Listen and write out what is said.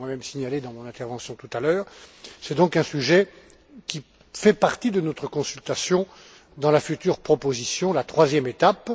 Je l'ai moi même signalé dans mon intervention tout à l'heure. C'est donc un sujet qui fait partie de notre consultation dans la future proposition, la troisième étape.